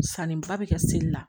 Sanniba bɛ kɛ seli la